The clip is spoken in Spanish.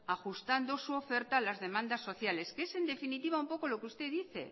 ajustando su oferta a las demandas sociales que es en definitiva un poco lo que usted dice